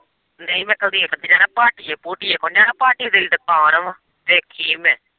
ਨਹੀਂ ਮੈਂ ਕੁਲਦੀਪ ਦੇ ਜਾਣਾ ਭਾਟੀਏ-ਭੂਟੀਏ ਕੋਲ਼ ਨੀ ਜਾਣਾ ਭਾਟੀਆਂ ਦੀ ਦੁਕਾਨ ਵਾਂ ਦੇਖੀ ਮੈਂ।